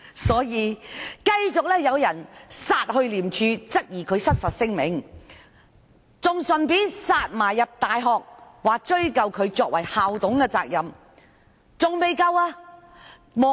所以，繼續有人到廉政公署，質疑何議員發出失實聲明，更到大學追究其作為校董的言責。